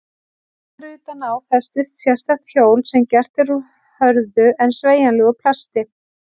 Þar utan á festist sérstakt hjól sem gert er úr hörðu en sveigjanlegu plasti.